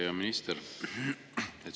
Hea minister!